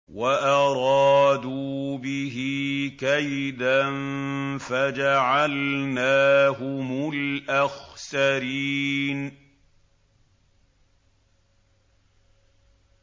وَأَرَادُوا بِهِ كَيْدًا فَجَعَلْنَاهُمُ الْأَخْسَرِينَ